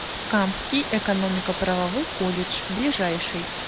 камский экономико правовой колледж ближайший